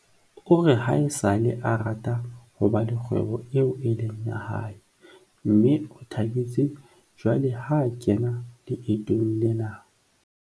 o re haesale a rata ho ba le kgwebo eo e leng ya hae mme o thabetse jwale ho kena leetong lena.